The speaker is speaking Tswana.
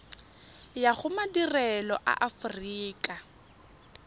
ya go madirelo a aforika